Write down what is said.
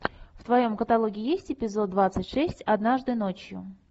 в твоем каталоге есть эпизод двадцать шесть однажды ночью